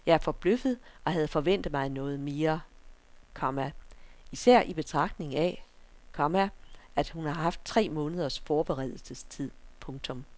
Jeg er forbløffet og havde forventet mig noget mere, komma især i betragtning af, komma at hun har haft tre måneders forberedelsestid. punktum